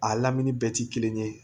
A lamini bɛɛ ti kelen ye